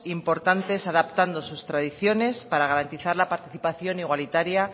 importantes adaptando sus tradiciones para garantizar la participación igualitaria